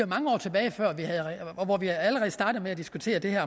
mange år tilbage hvor vi allerede startede med at diskutere det her